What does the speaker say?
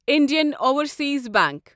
Indian Overseas bank